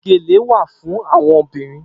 Gélé wà fún áwòn óbìrín